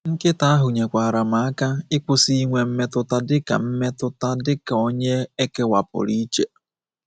Nkịta ahụ nyekwaara m aka ịkwụsị inwe mmetụta dịka mmetụta dịka onye ekewapụrụ iche.